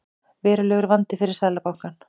Verulegur vandi fyrir Seðlabankann